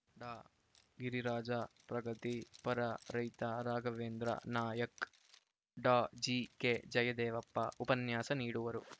ಡಾಗಿರಿರಾಜ ಪ್ರಗತಿ ಪರ ರೈತ ರಾಘವೇಂದ್ರ ನಾಯಕ್‌ ಡಾಜಿಕೆಜಯದೇವಪ್ಪ ಉಪನ್ಯಾಸ ನೀಡುವರು